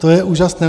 To je úžasné.